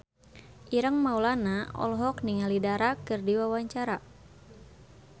Ireng Maulana olohok ningali Dara keur diwawancara